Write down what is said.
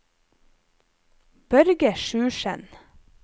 Børge Sjursen